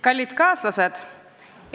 Kallid kaaslased!